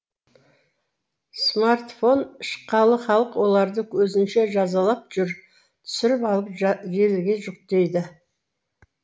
смартфон шыққалы халық оларды өзінше жазалап жүр түсіріп алып желіге жүктейді